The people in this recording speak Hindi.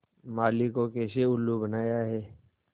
माली को कैसे उल्लू बनाया है